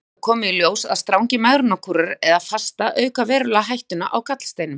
Einnig hefur komið í ljós að strangir megrunarkúrar eða fasta auka verulega hættuna á gallsteinum.